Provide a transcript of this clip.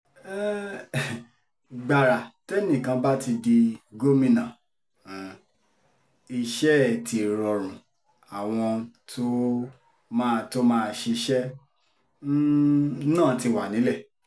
gbàrà tẹ́nìkan bá ti di gómìnà um iṣẹ́ ẹ̀ ti rọrùn àwọn tó máa tó máa ṣiṣẹ́ um náà ti wà nílẹ̀